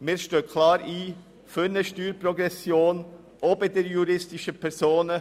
Wir stehen klar für eine Steuerprogression ein, auch bei den juristischen Personen.